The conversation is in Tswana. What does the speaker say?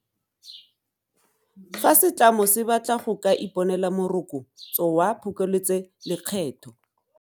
Fa setlamo se batla go ka iponela Moroko tso wa Phokoletsolekgetho.